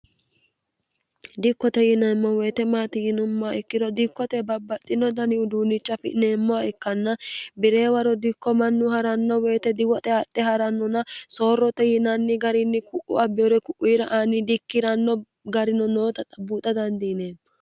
dikkote yinaemmo woyite maati yinummaa ikkiro dikkote babbaxxino dani uduunicha afi'neemmoha ikkanna bi'reewa rodikko mannu ha'ranno woyite diwoxe haxxe ha'rannona soorrote yinanni garinni ku'u abbeure ku'uiira aani di ikkiranno garino noota xabbuuxa dandiine